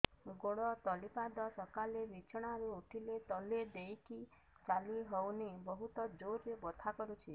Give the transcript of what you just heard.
ଗୋଡ ତଳି ପାଦ ସକାଳେ ବିଛଣା ରୁ ଉଠିଲେ ତଳେ ଦେଇକି ଚାଲିହଉନି ବହୁତ ଜୋର ରେ ବଥା କରୁଛି